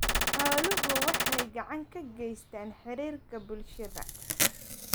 Xooluhu waxay gacan ka geystaan ??xiriirka bulshada.